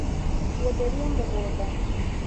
Gũtheria mũgũnda